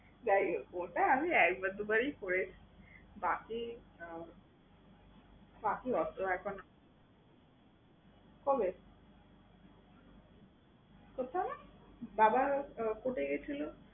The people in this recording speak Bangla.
যাই হোক ওটা আমি একবার দুবারই করি। বাকি আহ বাকি ওর তো এখন করে সেটা না? বাবা court এ গেছিলো।